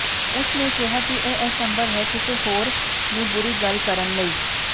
ਉਸ ਨੇ ਕਿਹਾ ਕਿ ਇਹ ਅਸੰਭਵ ਹੈ ਕਿਸੇ ਹੋਰ ਨੂੰ ਬੁਰੀ ਗੱਲ ਕਰਨ ਲਈ